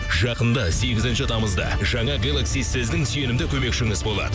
жақында сегізінші тамызда жаңа гелакси сіздің сенімді көмекшіңіз болады